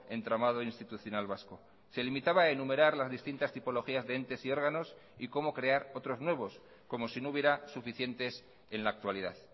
entramado institucional vasco se limitaba a enumerar las distintas tipologías de entes y órganos y como crear otros nuevos como si no hubiera suficientes en la actualidad